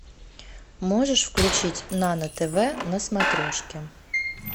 можешь включить нано тв на смотрешке